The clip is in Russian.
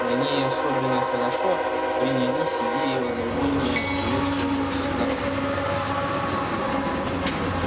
на ней особенно хорошо принялись идеи возрождения советского государства